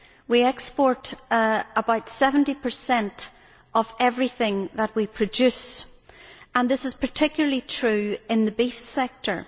We export about 70 of everything that we produce, and this is particularly true in the beef sector.